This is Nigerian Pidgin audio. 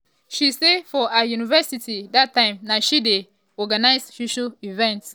she say for her university dat time na she dey help dem organise social events.